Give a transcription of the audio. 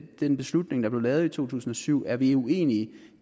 den beslutning der blev taget i to tusind og syv er vi uenige